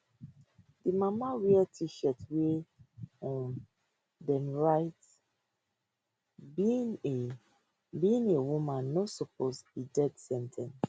di mama wear tshirt wia um dem write being a being a woman no suppose be death sen ten ce